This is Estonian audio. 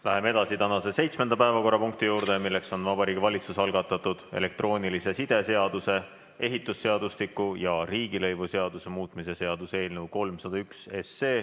Läheme edasi tänase seitsmenda päevakorrapunkti juurde, milleks on Vabariigi Valitsuse algatatud elektroonilise side seaduse, ehitusseadustiku ja riigilõivuseaduse muutmise seaduse eelnõu 301.